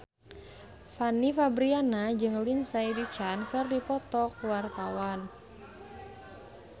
Fanny Fabriana jeung Lindsay Ducan keur dipoto ku wartawan